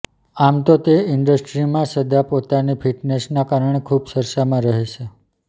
આમ તો તે ઇન્ડસ્ટ્રીમાં સદા પોતાની ફિટનેસના કારણે ખુબ ચર્ચામાં રહે છે